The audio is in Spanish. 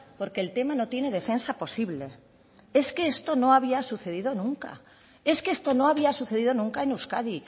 porque el tema no tiene defensa posible es que esto no había sucedido nunca es que esto no había sucedido nunca en euskadi